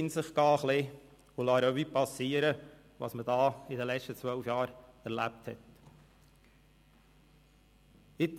mich gehen und Revue passieren lassen, was ich während der letzten zwölf Jahren erlebt habe.